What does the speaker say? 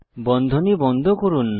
বন্ধনী বন্ধ করুন